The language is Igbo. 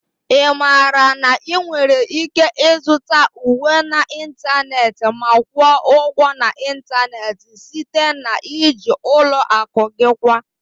Ị maara na ị nwere ike ịzụta uwe n'ịntanetị ma kwụọ ụgwọ n'ịntanetị site na iji ụlọ akụ gị kwa